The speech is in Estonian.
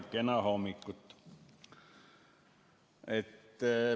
Kena hommikut!